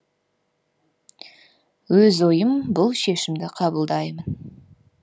өз ойым бұл шешімді қабылдаймын